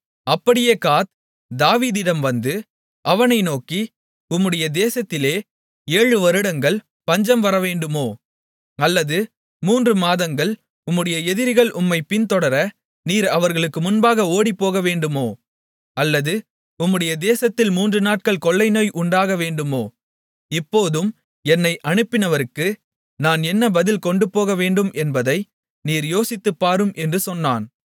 அப்படியே காத் தாவீதிடம் வந்து அவனை நோக்கி உம்முடைய தேசத்திலே ஏழு வருடங்கள் பஞ்சம் வரவேண்டுமோ அல்லது மூன்று மாதங்கள் உம்முடைய எதிரிகள் உம்மைப் பின்தொடர நீர் அவர்களுக்கு முன்பாக ஓடிப்போகவேண்டுமோ அல்லது உம்முடைய தேசத்தில் மூன்று நாட்கள் கொள்ளைநோய் உண்டாக வேண்டுமோ இப்போதும் என்னை அனுப்பினவருக்கு நான் என்ன பதில் கொண்டுபோகவேண்டும் என்பதை நீர் யோசித்துப் பாரும் என்று சொன்னான்